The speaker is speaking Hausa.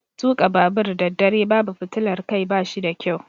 Tuka babur daddare babu fitilar Kai bashi da ƙyau.